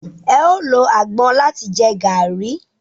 eo ló agbon làti jẹ garri.